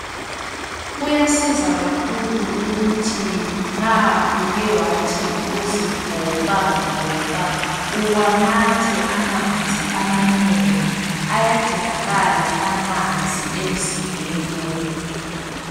Kuyasiza kakhulu ukuthi nxa uke wathi ukuzivoxavoxa uwanathe amanzi amanengi, ayadingakala amanzi emzimbeni womuntu.